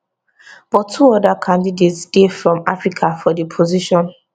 but two oda candidates dey from africa for di position